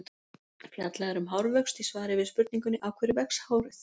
Fjallað er um hárvöxt í svari við spurningunni: Af hverju vex hárið?